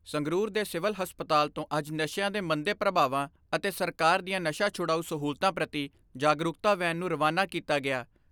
ਸੰਗਰੂਰ ਦੇ ਸਿਵਲ ਹਸਪਤਾਲ ਤੋਂ ਅੱਜ ਨਸ਼ਿਆਂ ਦੇ ਮੰਦੇ ਪ੍ਰਭਾਵਾਂ ਅਤੇ ਸਰਕਾਰ ਦੀਆਂ ਨਸ਼ਾ ਛੁਡਾਊ ਸਹੂਲਤਾਂ ਪ੍ਰਤੀ ਜਾਗਰੂਕਤਾ ਵੈਨ ਨੂੰ ਰਵਾਨਾ ਕੀਤਾ ਗਿਆ।